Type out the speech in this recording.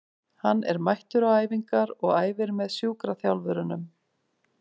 Hann er mættur á æfingar og æfir með sjúkraþjálfurunum.